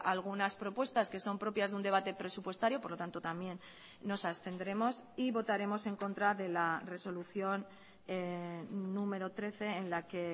algunas propuestas que son propias de un debate presupuestario por lo tanto también nos abstendremos y votaremos en contra de la resolución número trece en la que